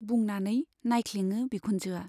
बुंनानै नाइख्लेङो बिखुनजोआ।